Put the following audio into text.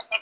আমাৰ